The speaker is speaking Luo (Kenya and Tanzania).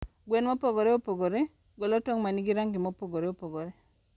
gwen mopogore opogore golo tong' ma nigi rangi mopogore opogore.